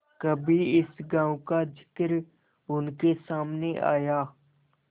कभी इस गॉँव का जिक्र उनके सामने आया